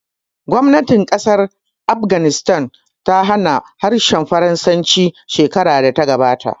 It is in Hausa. Gwamnatin ƙasar Afghanistan ta hana harshen Faransanci shekarar da ta gabata